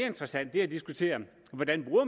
interessant er at diskutere hvordan